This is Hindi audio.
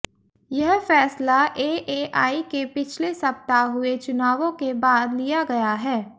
यह फैसला एएआई के पिछले सप्ताह हुए चुनावों के बाद लिया गया है